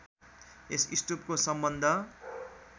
यस स्तूपको सम्बन्ध